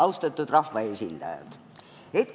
Austatud rahvaesindajad!